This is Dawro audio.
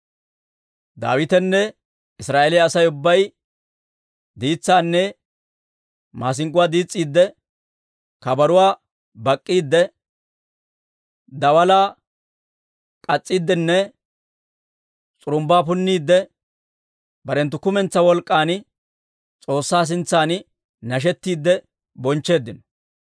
Daawitenne Israa'eeliyaa Asay ubbay diitsaanne maasink'k'uwaa diis's'iidde, kabaruwaa bak'k'iidde, daalaa k'aatsiiddenne s'urumbbaa punniidde, barenttu kumentsaa wolk'k'an S'oossaa sintsan nashettiidde bonchcheeddino.